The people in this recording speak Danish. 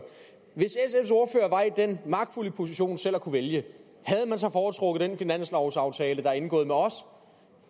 var i den magtfulde position selv at kunne vælge havde man så foretrukket den finanslovsaftale der er indgået med os